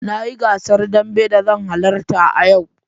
Na yi gasar dambe da zan halarta a yau